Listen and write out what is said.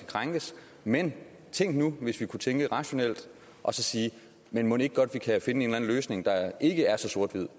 krænkes men tænk nu hvis man kunne tænke mere rationelt og sige men mon ikke godt vi kan finde en eller anden løsning der ikke er så sort hvid